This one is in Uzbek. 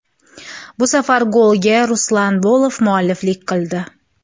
Bu safar golga Ruslan Bolov mualliflik qildi.